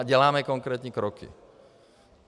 A děláme konkrétní kroky.